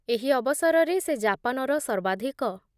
ଏହି ଅବସରରେ ସେ ଜାପାନର ସର୍ବାଧିକ